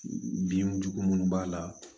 Binjugu minnu b'a la